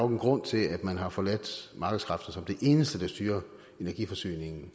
en grund til at man har forladt markedskræfter som det eneste der styrer energiforsyningen